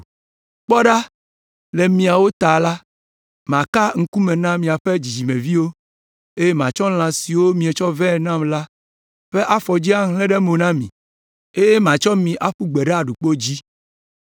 “ ‘Kpɔ ɖa, le miawo ta la, maka ŋkume na miaƒe dzidzimeviwo, eye matsɔ lã siwo mietsɔ vɛ nam la ƒe afɔdzi ahlẽ ɖe mo na mi, eye matsɔ mi aƒu gbe ɖe aɖukpo dzi.